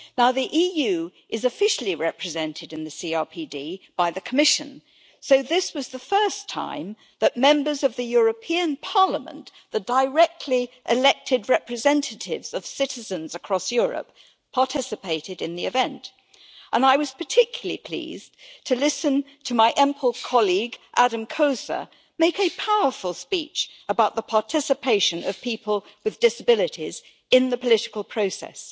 The EU is officially represented in the CRPD by the Commission, so this was the first time that Members of the European Parliament, the directly elected representatives of citizens across Europe, participated in the event. I was particularly pleased to listen to my EMPL colleague, Ádám Kósa, make a powerful speech about the participation of people with disabilities in the political process.